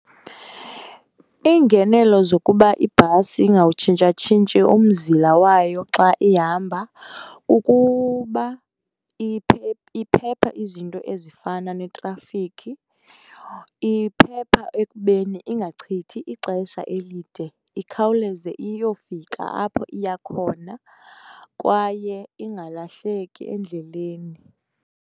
Iingenelo zokuba ibhasi ingawutshintshatshintshi umzila wayo xa ihamba kukuba iphepha izinto ezifana netrafikhi. Iphepha ekubeni ingachithi ixesha elide ikhawuleze iyofika apho iya khona kwaye ingalahleki endleleni.